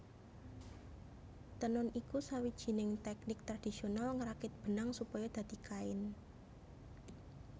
Tenun iku sawijining tèknik tradisional ngrakit benang supaya dadi kain